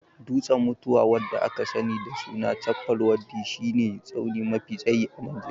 Dutsen mutuwa (da aka sani da sunan Chappal waddi) shi ne tsauni mafi tsayi a Najeriya